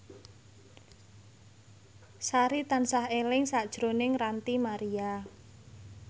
Sari tansah eling sakjroning Ranty Maria